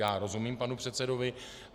Já rozumím panu předsedovi.